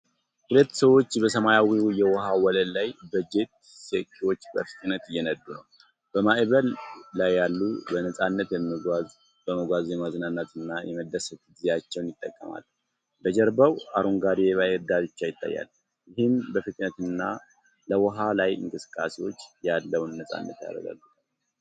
ሁለት ሰዎች በሰማያዊ የውሃ ወለል ላይ በጄት ስኪዎች በፍጥነት እየነዱ ነው። በማዕበል ላይ በነፃነት በመጓዝ የመዝናናትና የመደሰት ጊዜያቸውን ይጠቀማሉ። በጀርባው አረንጓዴ የባህር ዳርቻ ይታያል፣ ይህም ለፍጥነትና ለውሃ ላይ እንቅስቃሴዎች ያለውን ነፃነት ያረጋግጣል።